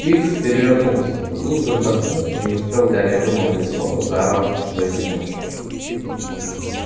пивз перевернулся поглубже вдохнул и не успел гарри вымолвить слова заорал что есть мочи